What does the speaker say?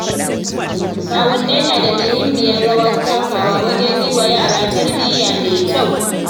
Kawunnai na da muhimmiyar rawar takawa wajen yiwa yara tarbiyya mai kyau.